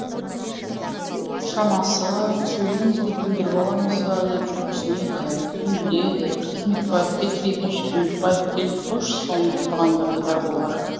шамасы сөйлейміз деп бүлдіріп аламыз ба деп жүрексінеді әлдекім біледі бір кермекбаев кетіп екінші кермекбаев келді қойшы соны деп тұрғандар да бар болар